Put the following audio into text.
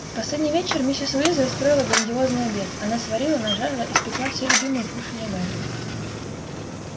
в последний вечер миссис уизли устроила грандиозный обед она сварила нажарила испекла все любимые кушанья гарри